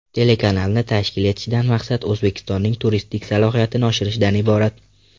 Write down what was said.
Telekanalni tashkil etishdan maqsad O‘zbekistonning turistik salohiyatini oshirishdan iborat.